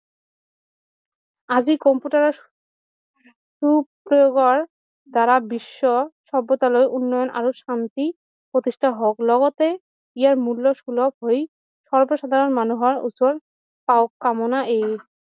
আজি কম্পিউটাৰ সু প্ৰভাৱ দ্বাৰা বিশ্বৰ সভ্যতালৈ উন্নয়ন আৰু শান্তি প্ৰতিস্থা হওক লগতে ইয়াৰ মূল্য সুলভ হৈ সৰ্ব সাধাৰণ মানুহৰ ওচৰ কামনা এই